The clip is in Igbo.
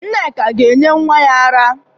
Nneka ga-enye nnwa ya ara.